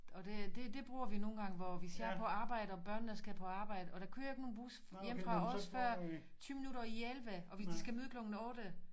Og det det det bruger vi nogle gange hvor hvis jeg er på arbejdet og børnene skal på arbejde og der kører ikke nogen bus hjemme fra os før 20 minutter i 11 og de skal møde klokken 8